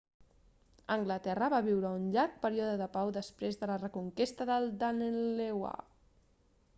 anglaterra va viure un llarg període de pau després de la reconquesta del danelaw